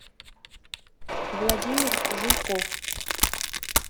владимир жуйков